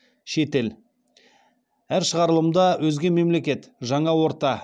шетел әр шығарылымда өзге мемлекет жаңа орта